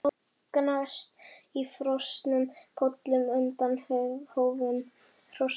Það gnast í frosnum pollum undan hófum hrossanna.